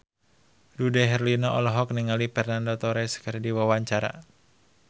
Dude Herlino olohok ningali Fernando Torres keur diwawancara